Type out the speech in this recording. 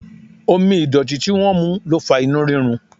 Omi ìdọ̀tí tí wọ́n mu ló fa inú rírun.